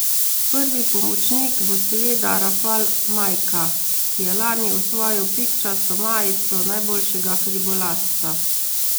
Prvi pomočnik bo seveda Rafal Majka, ki je lani osvojil pikčasto majico najboljšega hribolazca.